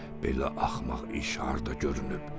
Belə axmaq iş harda görünüb?